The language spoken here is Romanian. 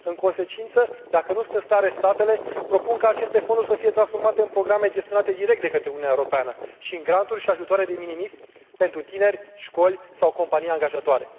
În consecință, dacă nu sunt în stare statele, propun ca aceste fonduri să fie transformate în programe gestionate direct de către Uniunea Europeană și în granturi și ajutoare pentru tineri, școli sau compania angajatoare.